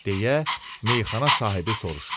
deyə meyaxana sahibi soruşdu.